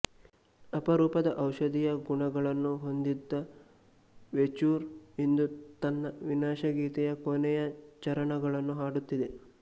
ಅಪರೂಪದ ಔಷಧೀಯ ಗುಣಗಳನ್ನು ಹೊಂದಿದ ವೇಚೂರ್ ಇಂದು ತನ್ನ ವಿನಾಶಗೀತೆಯ ಕೊನೆಯ ಚರಣಗಳನ್ನು ಹಾಡುತ್ತಿದೆ